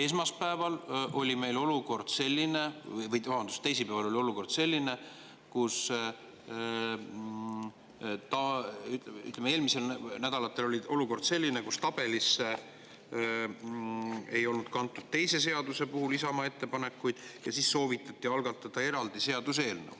Esmaspäeval, või vabandust, teisipäeval oli selline olukord, või ütleme, eelmistel nädalatel oli selline olukord, kus tabelisse ei olnud kantud Isamaa ettepanekuid ühe teise seaduse kohta, ja siis soovitati algatada eraldi seaduseelnõu.